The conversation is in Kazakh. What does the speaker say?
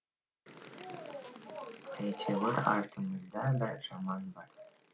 әйтеуір артымызда бір жаман бар